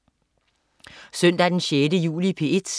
Søndag den 6. juli - P1: